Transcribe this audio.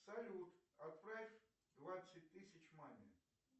салют отправь двадцать тысяч маме